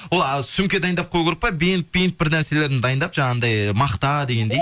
ол а сумке дайындап қою керек па бинт пинт бірнәселерін дайындап жаңағындай мақта дегендей